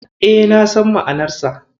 E, na san ma'anarsa.